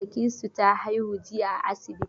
Balkisu ta haihu jiya a asibiti.